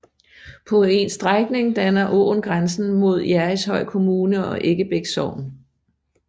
På en strækning danner åen grænsen mod Jerrishøj Kommune og Eggebæk Sogn